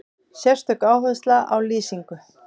Sérstök áhersla á lýsingu.